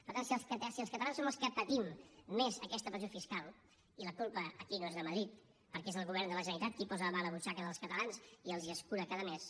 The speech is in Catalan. per tant si els catalans som els que patim més aquesta pressió fiscal i la culpa aquí no és de madrid perquè és el govern de la generalitat qui posa la mà a la butxaca dels catalans i els l’escura cada mes